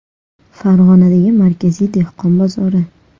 Farg‘onadagi Markaziy dehqon bozori.